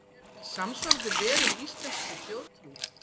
Eru til samsvarandi verur í íslenskri þjóðtrú?